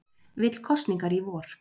Vill kosningar í vor